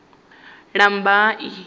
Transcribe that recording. lambamai